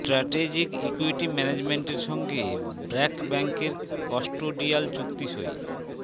strategic equity ম্যানেজমেন্টের সঙ্গে ব্র্যাক ব্যাংকের কাস্টোডিয়াল চুক্তি সই